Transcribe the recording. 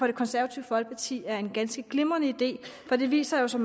det konservative folkeparti er en ganske glimrende idé for det viser sig